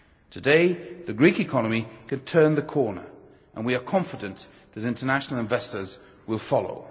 Today, the Greek economy can turn the corner, and we are confident that international investors will follow.